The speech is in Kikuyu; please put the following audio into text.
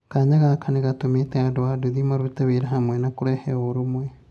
kanya gaka nĩgatũmĩte andũ a nduthi marute wĩra hamwe na kũrehe ũrũmwe